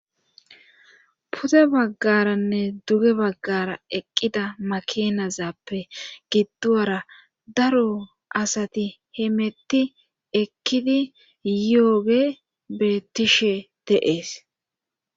pude baggaranne duge baggara eqqida makinazappe gidduwara daro asati hemetti ekkidi yiyogey bettishe de'ees